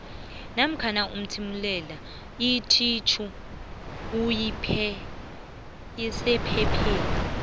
namkha uthimulele ethitjhupheypheni